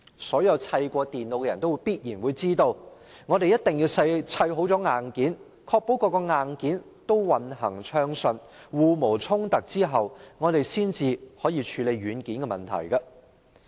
所有砌過電腦的人都必然知道，必須先砌好硬件，確保各個硬件均運行暢順、互無衝突後，才可以處理軟件的問題。